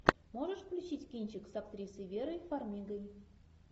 можешь включить кинчик с актрисой верой фармигой